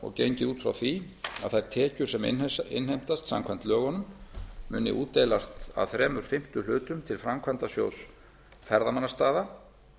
og gengið út frá því að þær tekjur sem innheimtast samkvæmt lögunum muni útdeilast að þrír fimmtu hlutum til framkvæmdasjóðs ferðamannastaða